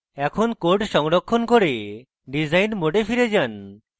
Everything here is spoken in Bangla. এখন code সংরক্ষণ করে ডিসাইন mode ফিরে যান